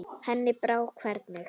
Henni brá hvergi.